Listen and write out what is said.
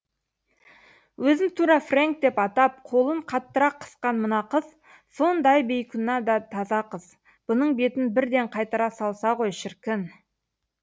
өзін тура фрэнк деп атап қолын қаттырақ қысқан мына қыз сондай бейкүнә да таза қыз бұның бетін бірден қайтара салса ғой шіркін